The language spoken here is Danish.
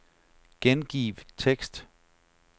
Gengiv tekst.